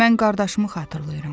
Mən qardaşımı xatırlayıram.